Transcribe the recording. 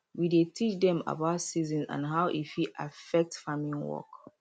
we dey teach dem about seasons and how e fit affect farming work